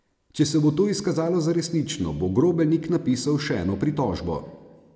Če se bo to izkazalo za resnično, bo Grobelnik napisal še eno pritožbo.